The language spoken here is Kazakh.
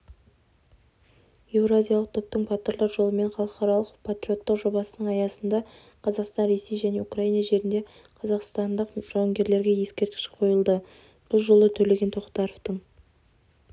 еуразиялық топтың батырлар жолымен халықаралық патриоттық жобасының аясында қазақстан ресей және украина жерінде қазақстандық жауынгерлерге ескерткіш қойылды бұл жолы төлеген тоқтаровтың